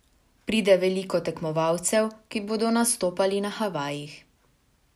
Pride veliko tekmovalcev, ki bodo nastopali na Havajih.